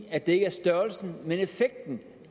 at det ikke er størrelsen men effekten